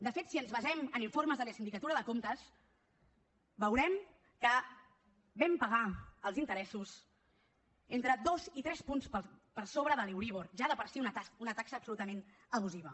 de fet si ens basem en informes de la sindicatura de comptes veurem que vam pagar els interessos entre dos i tres punts per sobre de l’euríbor ja de per si una taxa absolutament abusiva